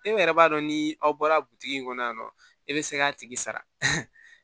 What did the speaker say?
E yɛrɛ b'a dɔn ni aw bɔra butigi in kɔnɔ yan nɔ e bɛ se k'a tigi sara